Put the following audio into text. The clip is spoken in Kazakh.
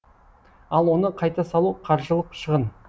ал оны қайта салу қаржылық шығын